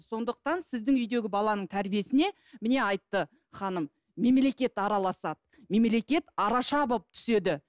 сондықтан сіздің үйдегі баланың тәрбиесіне міне айтты ханым мемлекет араласады мемелекет араша болып түседі